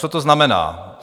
Co to znamená?